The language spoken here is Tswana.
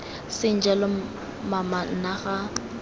seng jalo mama nna ga